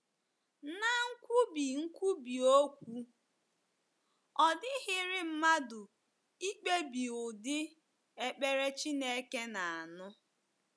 Ná nkwubi nkwubi okwu, ọ dịghịrị mmadụ ikpebi ụdị ekpere Chineke na - anụ.